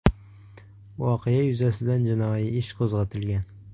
Voqea yuzasidan jinoiy ish qo‘zg‘atilgan.